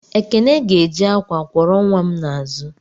Ekene ga-eji akwa kwọrọ nwa m n'azụ.